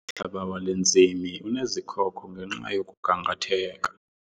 Umhlaba wale ntsimi unezikhoko ngenxa yokugangatheka.